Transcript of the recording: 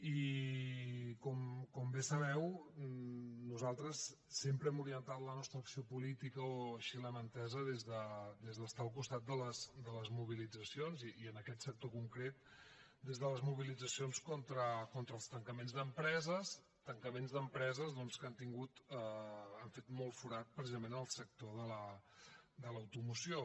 i com bé sabeu nosaltres sempre hem orientat la nostra acció política o així l’hem entesa des d’estar al costat de les mobilitzacions i en aquest sector concret des de les mobilitzacions contra els tancaments d’empreses tancaments d’empreses doncs que han fet molt forat precisament en el sector de l’automoció